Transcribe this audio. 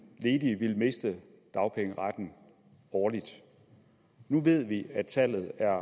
ledige ville miste dagpengeretten årligt nu ved vi at tallet er